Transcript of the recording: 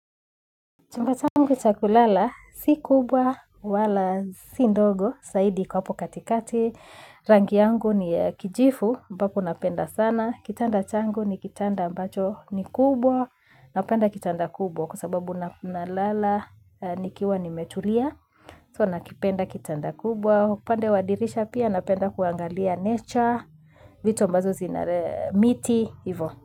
Chumba changu cha kulala, si kubwa wala si ndogo, saidi kwa hapo katikati, rangi yangu ni kijifu, mbapo napenda sana, kitanda changu ni kitanda ambacho ni kubwa, napenda kitanda kubwa kwa sababu nalala, nikiwa nimetulia, so nakipenda kitanda kubwa, upande wa dirisha pia napenda kuangalia nature, vito ambazo zinare miti, ivo.